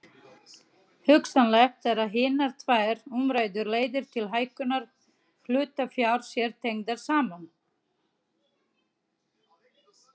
Hugsanlegt er að hinar tvær umræddu leiðir til hækkunar hlutafjár séu tengdar saman.